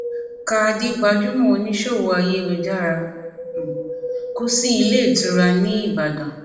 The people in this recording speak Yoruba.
khadí gbajúmọ oníṣòwò ayélujára um kù sílé ìtura nìbàdàn